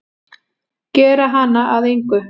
Gera hana að engu.